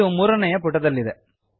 ಇದು ಮೂರನೆಯ ಪುಟದಲ್ಲಿದೆ